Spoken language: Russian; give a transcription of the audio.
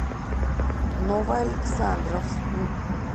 новоалександровску